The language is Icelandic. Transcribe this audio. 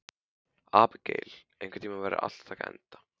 Abigael, einhvern tímann þarf allt að taka enda.